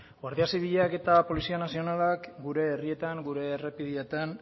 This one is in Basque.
guardia zibilak eta polizia nazionalak gure herrietan gure errepideetan